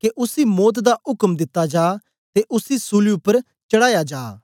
के उसी मौत दा उक्म दिता जा ते उसी सूली उपर चढ़ाया जाए